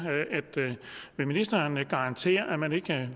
vil ministeren garantere at man ikke